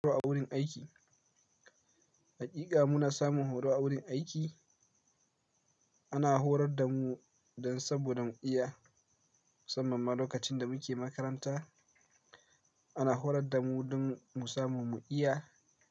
Horo a wurin aiki. Haƙiƙa muna samun horo a wurin aiki. Ana horar da mu dan saboda mu iya, musammanma lokacin da muke makaranta. Ana horar da mu don mu samu mu iya.